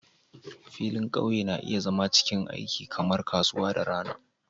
Filin ƙauye na iya zama cikin aiki kamar kasuwa da rana